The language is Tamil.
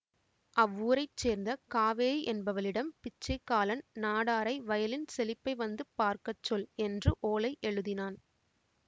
அவ்வூரைச்சேர்ந்த காவேரி என்பவளிடம் பிச்சைக்காலன் நாடாரை வயலின் செழிப்பை வந்து பார்க்க சொல் என்று ஓலை எழுதினான்